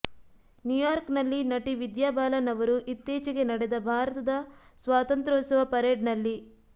New York ನಲ್ಲಿ ನಟಿ ವಿದ್ಯಾಬಾಲನ್ ಅವರು ಇತ್ತೀಚೆಗೆ ನಡೆದ ಭಾರತದ ಸ್ವಾತಂತ್ರೋತ್ಸವ ಪರೇಡ್ ನಲ್ಲಿ